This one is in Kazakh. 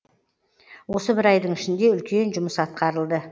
осы бір айдың ішінде үлкен жұмыс атқарылды